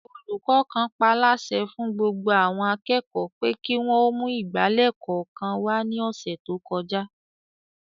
Olùkọ́ kan paálásẹ fún gbogbo àwọn akẹ́kọ̀ọ́ pé kí wọ́n ó mú ìgbálẹ̀ kọ̀ọ̀kan wá ní ọ̀sẹ̀ tó kọjá